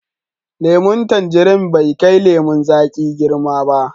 Lemun tanjirin bai kai lemun zaƙi girma ba.